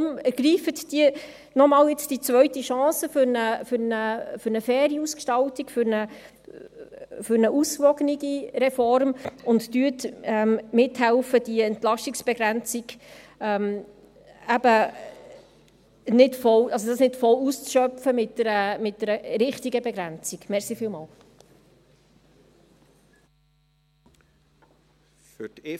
Deshalb ergreifen Sie doch diese zweite Chance für eine faire Ausgestaltung, für eine ausgewogene Reform, und helfen Sie mit, die Entlastungsbegrenzung mit einer richtigen Begrenzung nicht